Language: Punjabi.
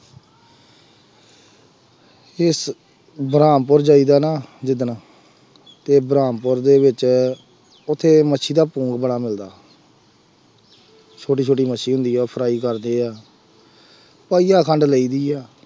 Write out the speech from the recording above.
ਇਸ ਬਰਹਾਮਪੁਰ ਜਾਈਦਾ ਨਾ ਜਿਸ ਦਿਨ ਅਤੇ ਬਰਾਹਮਪੁਰ ਦੇ ਵਿੱਚ ਉੱਥੇ ਮੱਛੀ ਦਾ ਪੋਂਂਗ ਬੜਾ ਮਿਲਦਾ ਛੋਟੀ ਛੋਟੀ ਮੱਛੀ ਹੁੰਦੀ ਆ, ਉਹ fry ਕਰਦੇ ਆ, ਪਾਈਆ ਖੰਡ ਲਈ ਦੀ ਆ,